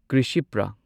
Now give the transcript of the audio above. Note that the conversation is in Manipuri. ꯀ꯭ꯔꯤꯁꯤꯄ꯭ꯔꯥ